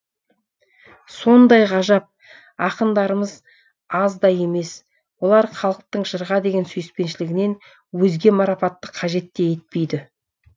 сондай ғажап ақындарымыз аз да емес олар халықтың жырға деген сүйіспеншілігінен өзге марапатты қажет те етпейді